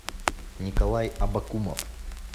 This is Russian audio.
николай абакумов